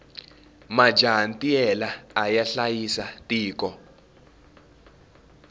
majaha ntiyela aya hlayisa tiko